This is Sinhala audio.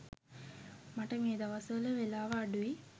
මට මේ දවස්වල වෙලාව අඩුයි.